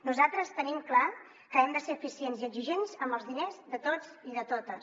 nosaltres tenim clar que hem de ser eficients i exigents amb els diners de tots i de totes